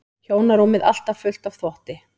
Hjónarúmið alltaf fullt af þvotti.